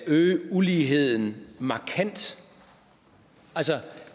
øge uligheden markant altså